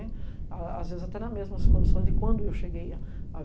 A às vezes, até nas mesmas condições de quando eu cheguei há .